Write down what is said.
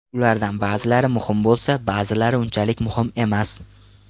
Ulardan ba’zilari muhim bo‘lsa, ba’zilari unchalik muhim emas.